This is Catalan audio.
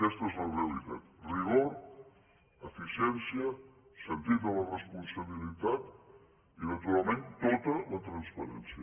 aquesta és la realitat rigor eficiència sentit de la responsabilitat i naturalment tota la transparència